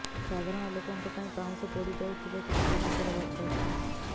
ସାଧାରଣ ଲୋକଙ୍କ ପାଇଁ ପାଉଁସ ପୋଡ଼ି ଯାଉଥିବା କିଛି ଜିନିଷର ଭଷ୍ମାଂଶ